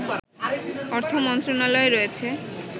অর্থ মন্ত্রণালয়ে রয়েছে